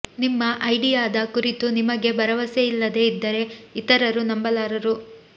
ನಿಮ್ಮ ಐಡಿಯಾದ ಕುರಿತು ನಿಮಗೇ ಭರವಸೆ ಇಲ್ಲದೆ ಇದ್ದರೆ ಇತರರು ನಂಬಲಾರರು